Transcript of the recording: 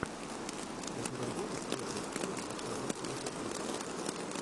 у тебя будет третья серия настоящий детектив